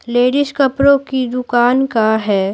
Ladies कपड़ों की दुकान का है।